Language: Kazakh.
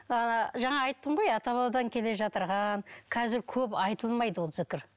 ыыы жаңа айттым ғой ата бабадан келе қазір көп айтылмайды ол зікір